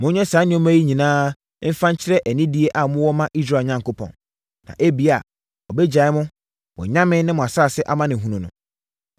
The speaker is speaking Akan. Monyɛ saa nneɛma yi nyinaa fa nkyerɛ anidie a mowɔ ma Israel Onyankopɔn. Na ebia, ɔbɛgyae mo, mo anyame ne mo asase amanehunu no.